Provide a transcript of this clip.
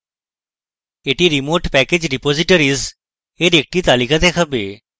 এটি remote package repositories এর একটি তালিকা দেখাবে